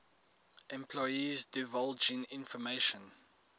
employees divulging information